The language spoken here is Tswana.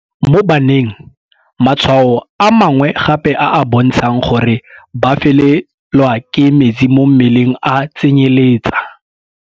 Mo baneng, matshwao a mangwe gape a a bontshang gore ba felelwa ke metsi mo mmeleng a tsenyeletsa